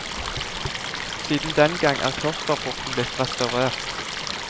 Siden den gang er klosterporten blitt restaurert.